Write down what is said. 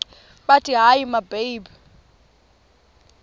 bathi hayi mababe